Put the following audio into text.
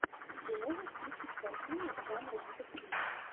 ты можешь включить картину жанра детектив